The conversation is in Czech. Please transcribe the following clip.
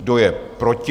Kdo je proti?